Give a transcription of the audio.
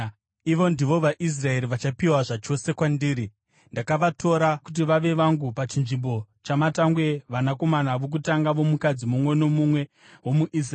Ivo ndivo vaIsraeri vachapiwa zvachose kwandiri. Ndakavatora kuti vave vangu pachinzvimbo chamatangwe, vanakomana vokutanga vomukadzi mumwe nomumwe womuIsraeri.